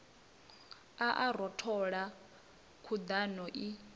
a a rothola khuḓano i